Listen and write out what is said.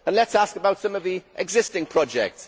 Let us ask about some of the existing projects.